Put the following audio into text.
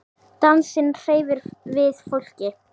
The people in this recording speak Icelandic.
Dansinn hreyfir við fólki.